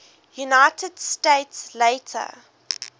united states later